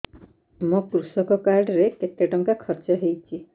ମୋ କୃଷକ କାର୍ଡ ରେ କେତେ ଟଙ୍କା ଖର୍ଚ୍ଚ ହେଇଚି